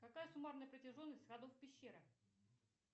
какая суммарная протяженность ходов пещеры